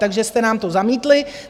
Takže jste nám to zamítli.